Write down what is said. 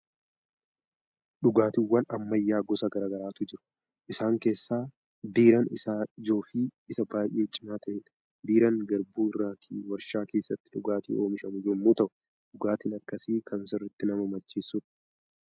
Dhugaatiiwwan ammayyaa gosa garaa garaatu jiru. Isaan keessaa biiraan isa ijoo fi isa baay'ee cimaa ta'edha. Biiraan garbuu irraatii waarshaa keessatti dhugaatii oomishamu yommuu ta'u, dhugaatiin akkasii kan sirriitti nama macheessudha.